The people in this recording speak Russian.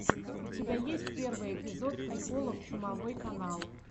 у тебя есть первый эпизод приколов чумовой канал